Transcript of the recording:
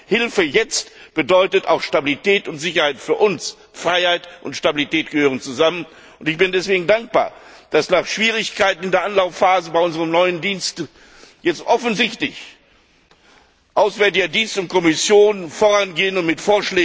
Hilfe jetzt bedeutet auch Stabilität und Sicherheit für uns, Freiheit und Stabilität gehören zusammen! Deswegen bin ich dankbar, dass nach Schwierigkeiten in der Anlaufphase bei unserem neuen Dienst jetzt offensichtlich Auswärtiger Dienst und Kommission vorangehen und mit